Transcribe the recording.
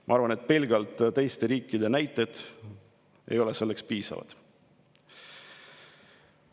Ma arvan, et pelgalt teiste riikide näited ei ole piisavad.